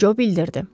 Co bildirdi.